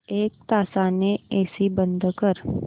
एक तासाने एसी बंद कर